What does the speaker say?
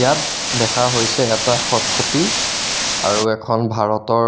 ইয়াত দেখা হৈছে এটা খট খটি আৰু এখন ভাৰতৰ